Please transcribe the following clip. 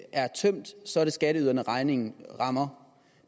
er tømt så er det skatteyderne regningen rammer